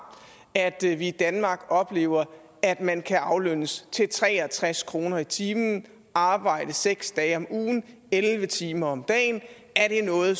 at vi i danmark oplever at man kan aflønnes til tre og tres kroner i timen arbejde seks dage om ugen elleve timer om dagen er det noget